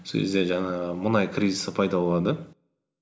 сол кезде жаңағы мұнай кризисі пайда болады